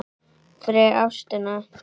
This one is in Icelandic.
fyrir ástina